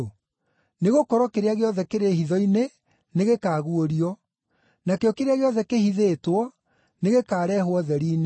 Nĩgũkorwo kĩrĩa gĩothe kĩrĩ hitho-inĩ nĩgĩkaguũrio, nakĩo kĩrĩa gĩothe kĩhithĩtwo nĩgĩkareehwo ũtheri-inĩ.